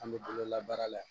An bɛ bolola baara la